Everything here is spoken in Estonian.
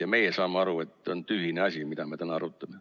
Ja meie saame aru, et see on tühine asi, mida me täna arutame?